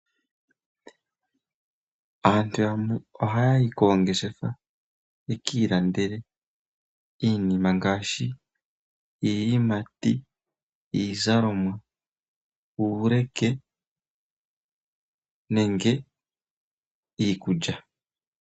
Aantu yamwe ohaya yi koongeshefa yeki ilandele iinima ngaashi iiyimati, iizalomwa, uuleke nenge iikulya.